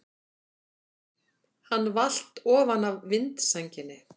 Hann valt ofan af vindsænginni!